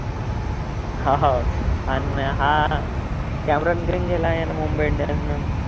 हा हा अन हा कॅमरॉन ग्रीन गेला अन मुंबई इंडियन्स नं